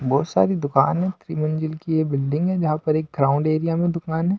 बहुत सारी दुकान है त्रिमंजिल की ये बिल्डिंग है जहां पर एक ग्राउंड एरिया में दुकान --